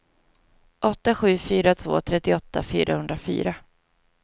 åtta sju fyra två trettioåtta fyrahundrafyra